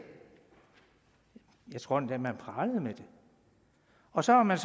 jeg tror endda man pralede med det og så har man